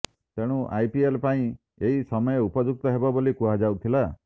ତେଣୁ ଆଇପିଏଲ୍ ପାଇଁ ଏହି ସମୟ ଉପଯୁକ୍ତ ହେବ ବୋଲି କୁହାଯାଉଥିଲା